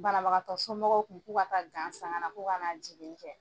Banabagatɔsomɔgɔw kun k'u ka taa san ka na jinni kɛ.